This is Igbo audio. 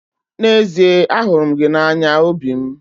N'ezie ahụrụ m gị n'anya obi m.